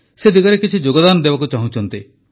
ସେ ଦିଗରେ କିଛି ଯୋଗଦାନ ଦେବାକୁ ଚାହୁଁଛନ୍ତି